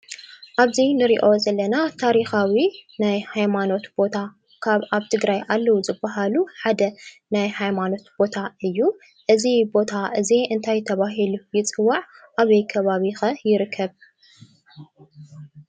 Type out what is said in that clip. ኣብዚ ንሪኦ ዘለና ታሪካዊ ናይ ሃይማኖት ቦታ ካብ ኣብ ትግራይ ኣለው ዝባሃሉ ሓደ ናይ ሃይማኖት ቦታ እዩ፡፡ እዚ ቦታ እዚ እንታይ ተባሂሉ ይፅዋዕ? ኣበይ ከባቢ ኸ ይርከብ?